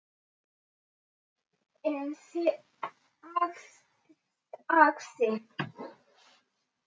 En þagði.